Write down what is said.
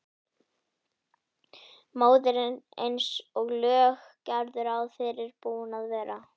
Móðirin eins og lög gerðu ráð fyrir búin að vera.